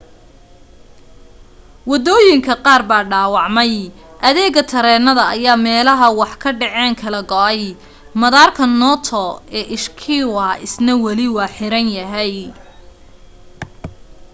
waddooyinka qaar baa dhaawacmay adeega tareenada ayaa meelaha wax ka dhaceen kala go'ay madaarka noto ee ishikawa isna wali waa xiran yahay